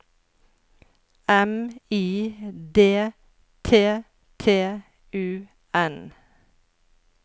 M I D T T U N